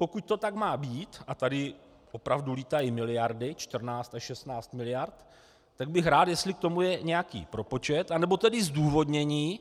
Pokud to tak má být a tady opravdu létají miliardy, 14 až 16 miliard, tak bych rád, jestli k tomu je nějaký propočet anebo tedy zdůvodnění,